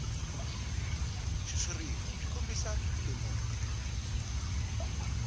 xitshuriwa byi kombisa ku lemuka